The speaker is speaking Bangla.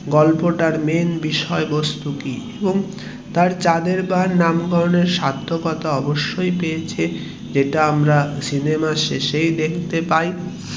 গল্পটার main বিষয়ে বস্তু কি এবং তার চাঁদের পাহাড় নামকরণের সার্থকতা অবশ্যই পেয়েছে যেটা আমরা সিনেমার শেষেই দেখতে পাই